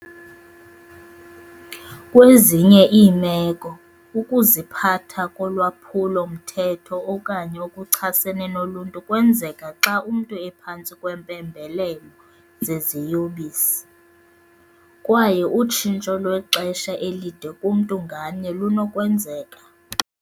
Kwezinye iimeko, ukuziphatha kolwaphulo-mthetho okanye okuchasene noluntu kwenzeka xa umntu ephantsi kweempembelelo zeziyobisi, kwaye utshintsho lwexesha elide kumntu ngamnye lunokwenzeka.